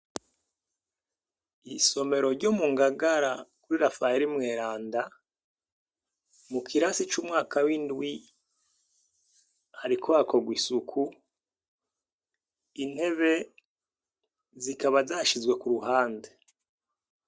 Isomero ryo mu Ngagara kuri Rafayeri mweranda mu kirasi c'umwaka w'indwi hariko hakogwa isuku, intebe zikaba zashizwe ku ruhande.